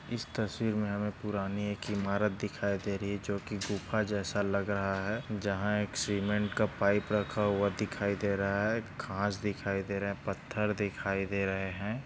इस तस्वीर में हमे एक पुराणी एक इमारत दिखाई दे रही है जो की गूफ्हा जैसा लग रहा है जहा एक सीमेंट का पाइप रखा हुआ दिखाई दे रहा है घास दिखाई दे रहे है पत्थर दिखाई दे रहे है।